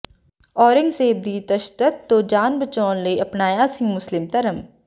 ਔਰੰਗਜ਼ੇਬ ਦੀ ਤਸ਼ੱਦਦ ਤੋਂ ਜਾਨ ਬਚਾਉਣ ਲਈ ਅਪਣਾਇਆ ਸੀ ਮੁਸਲਿਮ ਧਰਮ